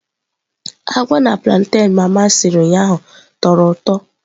Agwa na plantain mama siri ụnyaahụ tọrọ ụtọ.